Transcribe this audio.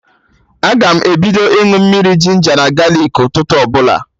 Aga m ebido ịñụ mmiri ginja na galik ụtụtụ ọbụla